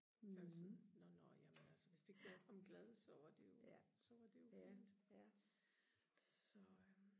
for jeg var sådan nå nå jamen altså hvis det gjorde ham glad så var det jo så var det jo fint så øh